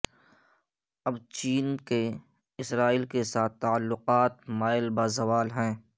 اب چین کے اسرائیل کے ساتھ تعلقات مائل بہ زوال ہیں